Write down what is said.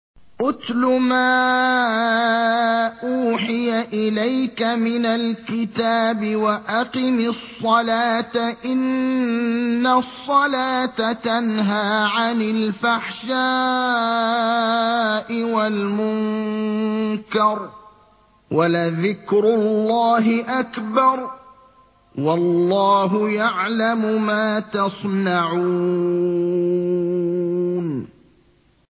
اتْلُ مَا أُوحِيَ إِلَيْكَ مِنَ الْكِتَابِ وَأَقِمِ الصَّلَاةَ ۖ إِنَّ الصَّلَاةَ تَنْهَىٰ عَنِ الْفَحْشَاءِ وَالْمُنكَرِ ۗ وَلَذِكْرُ اللَّهِ أَكْبَرُ ۗ وَاللَّهُ يَعْلَمُ مَا تَصْنَعُونَ